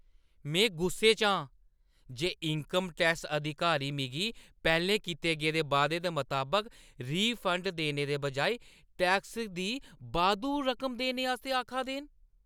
में गुस्से आं जे इन्कम टैक्स अधिकारी मिगी पैह्‌लें कीते गेदे वादे दे मताबक रिफंड देने दे बजाए टैक्स दी बाद्धू रकम देने आस्तै आखा दे न।